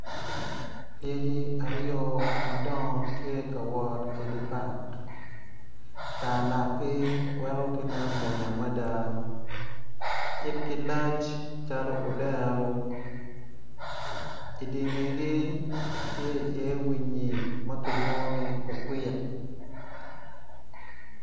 Lyeci aryo madongo tye ka wot idye park tar lakgi weko gimwonya mada yitgi lac calo odero idi ngegi tye iye winyi ma kilwongo ni okwik.